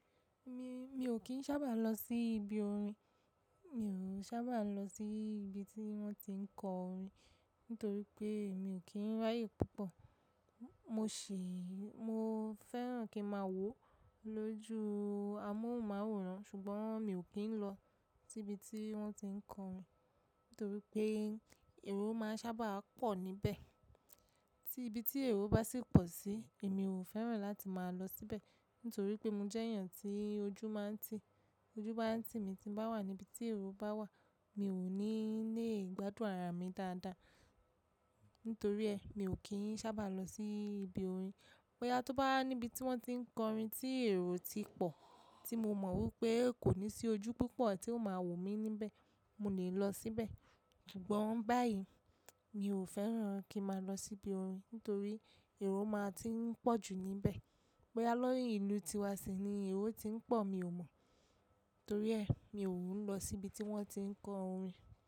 Mi, mi ò kí ń sábà lọ sí ibi orin. Mi ò sábà lọ sí ibi tí wọ́n ti ń kọ orin nítorí pé mi ò kí ń ráyè púpọ̀. Mo ṣè, mo fẹ́ràn kí máa wó lójú amóhùnmáwòrán ṣùgbọ́n mi ò kí ń lọ síbi tí wọ́n ti ń kọ orin nítorí pé èrò máa ń sábà pọ̀ níbẹ̀. Tí ibi tí èrò bá sì pọ̀ sí, èmi ò fẹ́ràn láti máa lọ síbẹ̀ nítorí pé mo jẹ́ èèyàn tí ojú máa ń ti. Ojú bá ń ti èmi tí bá wà níbi tí èrò bá wà, mi ò ní lè gbádùn ara mi dáadáa. Nítorí ẹ, mi ò kí ń sábà lọ sí ibi orin. Bóyá tó bá níbi tí wọ́n ti ń kọ orin tí èrò ti pọ̀ tí mo mọ̀ wípé kò ní sí ojú púpọ̀ tí ó máa wò mí níbẹ̀, mo lè lọ síbẹ̀. Ṣùgbọ́n báyìí mi ò fẹ́ràn kí má lọ sí ibi orin nítorí èrò máa ti ń pọ̀ jù níbẹ̀. Bóyá lórí ìlú tíwa ṣe ni èrò ti ń pọ̀, mi ò mọ̀. Nítorí ẹ, mi ò ń lọ síbi tí wọ́n ti ń kọ orin.